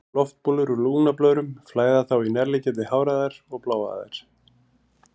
Loftbólur úr lungnablöðrum flæða þá í nærliggjandi háræðar og bláæðar.